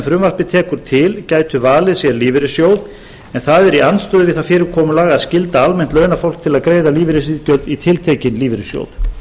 frumvarpið tekur til gætu valið sér lífeyrissjóð en það er í andstöðu við það fyrirkomulag að skylda almennt launafólk til að greiða lífeyrisiðgjöld í tiltekinn lífeyrissjóð